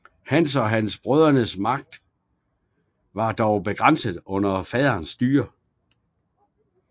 Hans og brødrenes magt var dog begrænset under faderens styre